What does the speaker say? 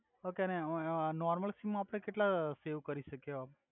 okay ને ઓએ ઓ નોર્મલ સિમ મા આપ્ડે કેટલાં સેવ કરી સકિએ હોય